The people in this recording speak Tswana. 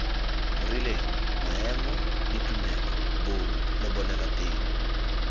rileng maemo ditumelo bong lebolelateng